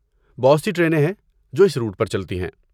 بہت سی ٹرینیں ہیں جو اس روٹ پر چلتی ہیں۔